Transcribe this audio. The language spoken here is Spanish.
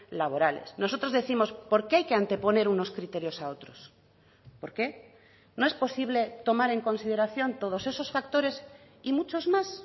laborales nosotros décimos por qué hay que anteponer unos criterios a otros por qué no es posible tomar en consideración todos esos factores y muchos más